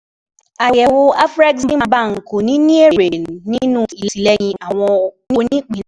Àyẹ̀wò Afreximbank kò ní ní èrè nínú ìtìlẹyìn àwọn onípín.